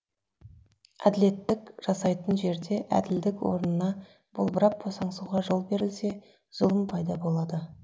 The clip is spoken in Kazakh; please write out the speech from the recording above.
әділеттік жасайтын жерде әділдік орнына болбырап босаңсуға жол берілсе зұлым пайда болады